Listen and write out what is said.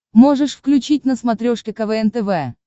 можешь включить на смотрешке квн тв